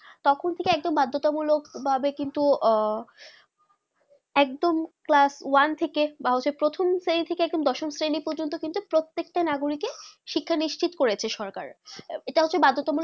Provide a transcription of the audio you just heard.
তখন থেকে একদম বাদথক মূল্য ভাবে কিন্তু আহ একদম class one থেকে বা হচ্ছে প্রথম শ্রেণী থেকে দশম শ্রেণী প্রজন্ত কিন্তু প্রত্যেকটা নাগরিক কে শিক্ষা নিশ্চিত করেছে সরকার যেটা হয়েছে এটা হয়েছে বার্ধুটা মূলক